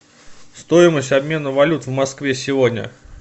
стоимость обмена валют в москве сегодня